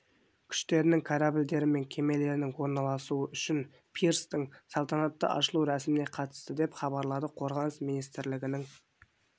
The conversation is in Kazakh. күштерінің корабльдері мен кемелерінің орналасуы үшін пирстің салтанатты ашылу рәсіміне қатысты деп хабарлады қорғаныс министрлігінің